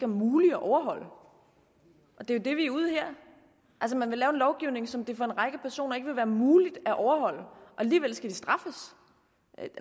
muligt at overholde og det er jo det vi er ude i her man vil lave en lovgivning som det for en række personer ikke vil være muligt at overholde og alligevel skal de straffes